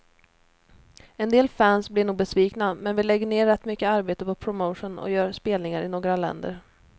En del fans blir nog besvikna, men vi lägger ner rätt mycket arbete på promotion och gör spelningar i några länder.